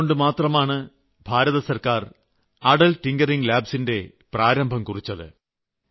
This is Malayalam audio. അതുകൊണ്ട് മാത്രമാണ് ഭാരതസർക്കാർ അടൽ ടിങ്കറിങ് ലാബ്സ് ന്റെ പ്രാരംഭം കുറിച്ചത്